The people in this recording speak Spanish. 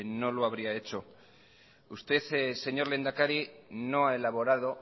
no lo habría hecho usted señor lehendakari no ha elaborado